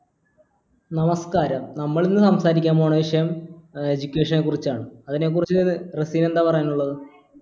നമസ്കാരം നമ്മളിന്ന് സംസാരിക്കാൻ പോകുന്ന വിഷയം ഏർ education നെ കുറിച്ചാണ് അതിനെക്കുറിച്ച് റസീന് എന്താ പറയാനുള്ളത്